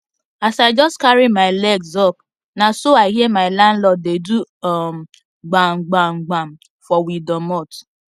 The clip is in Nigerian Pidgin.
as i jus carry my legs up naso i hear my lanlord dey do um gbam gbam gbam for we doormot